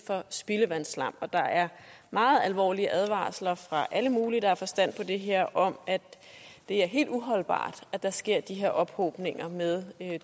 for spildevandsslam og der er meget alvorlige advarsler fra alle mulige der har forstand på det her om at det er helt uholdbart at der sker de her ophobninger med